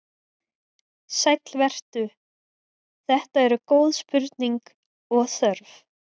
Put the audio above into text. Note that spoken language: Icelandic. Sæll vertu, þetta eru góð spurning og þörf.